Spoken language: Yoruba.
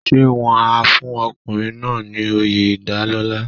Ṣé wọ́n á fún ọkùnrin náà ní oyè ìdálọ́lá.